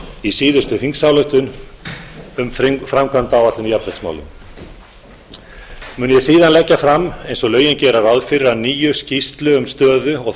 í síðustu þingsályktun um framkvæmdaáætlun í jafnréttismálum mun ég síðan leggja fram eins og lögin gera ráð fyrir að nýju skýrslu um stöðu og